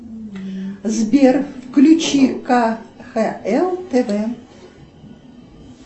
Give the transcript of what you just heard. сбер включи кхл тв